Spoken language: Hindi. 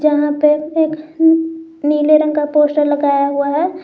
यहां पे एक नीले रंग का पोस्टर लगाया हुआ है।